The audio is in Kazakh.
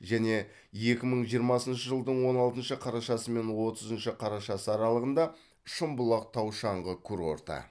және екі мың жиырмасыншы жылдың он алтыншы қарашасы мен отызыншы қарашасы аралығында шымбұлақ тау шаңғы курорты